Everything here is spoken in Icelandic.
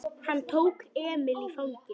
Hann tók Emil í fangið.